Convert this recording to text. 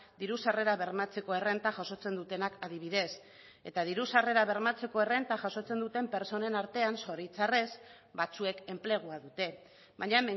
diru sarrerak bermatzeko errenta jasotzen dutenak adibidez eta diru sarrerak bermatzeko errenta jasotzen duten pertsonen artean zoritzarrez batzuek enplegua dute baina